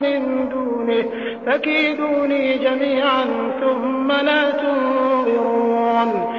مِن دُونِهِ ۖ فَكِيدُونِي جَمِيعًا ثُمَّ لَا تُنظِرُونِ